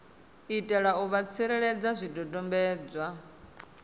itela u vha tsireledza zwidodombedzwa